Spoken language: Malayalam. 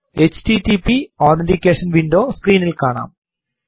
എച്ടിടിപി അതെന്റിക്കേഷൻ വിൻഡോ സ്ക്രീനിൽ കാണാം